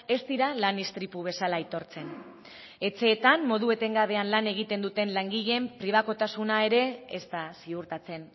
ez dira lan istripu bezala aitortzen etxeetan modu etengabean lan egiten duten langileen pribakotasuna ere ez da ziurtatzen